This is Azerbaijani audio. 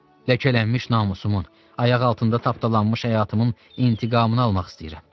Ləkələnmiş namusumun, ayaq altında tapdalanmış həyatımın intiqamını almaq istəyirəm.